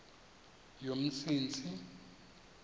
yomsintsi